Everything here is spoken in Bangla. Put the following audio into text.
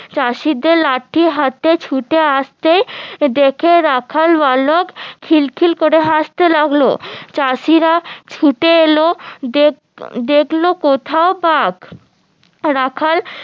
চাষিদের লাটি হাতে ছুটে আসতে দেখে রাখাল বালক খিল খিল করে হাসতে লাগলো চাষিরা ছুটে এলো দেখলো দেখলো কোথাও বাঘ রাখাল